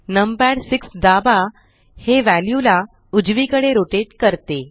numpad 6 दाबा हे view उजवीकडे रोटेट करते